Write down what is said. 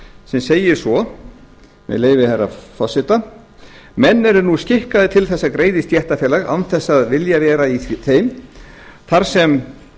sem segir svo með leyfi herra forseta menn eru nú skikkaðir til að greiða í stéttarfélög án þess að vilja vera í þeim þar sem